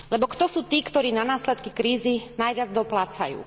Lebo kto sú tí, ktorí na následky krízy najviac doplácajú.